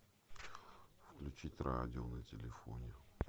включить радио на телефоне